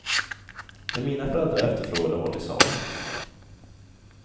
Det mina föräldrar efterfrågade var till salu.